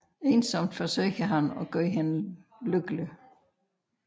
Ensomt forsøger han at gøre hende lykkelig